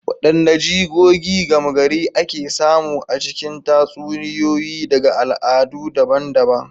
Wadanne jigogi gama gari ake samu a cikin tatsuniyoyi daga al'adu daban-daban?